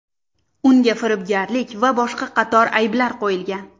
Unga firibgarlik va boshqa qator ayblar qo‘yilgan.